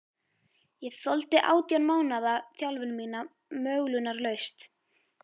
Ég þoldi átján mánaða þjálfun mína möglunarlaust.